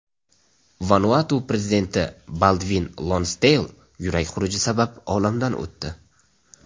Vanuatu prezidenti Baldvin Lonsdeyl yurak xuruji sabab olamdan o‘tdi.